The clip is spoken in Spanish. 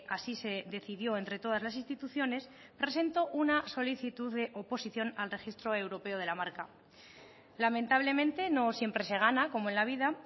así se decidió entre todas las instituciones presentó una solicitud de oposición al registro europeo de la marca lamentablemente no siempre se gana como en la vida